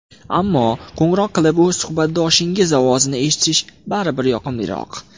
Ammo, qo‘ng‘iroq qilib, o‘z suhbatdoshingiz ovozini eshitish baribir yoqimliroq.